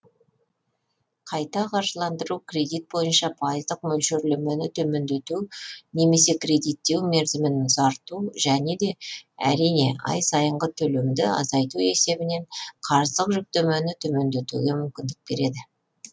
қайта қаржыландыру кредит бойынша пайыздық мөлшерлемені төмендету немесе кредиттеу мерзімін ұзарту және де әрине ай сайынғы төлемді азайту есебінен қарыздық жүктемені төмендетуге мүмкіндік береді